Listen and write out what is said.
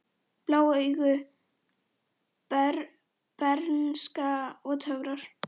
Blá augu, bernska og töfrar